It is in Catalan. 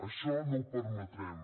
això no ho permetrem